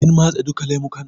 Kin matse duka lemukan?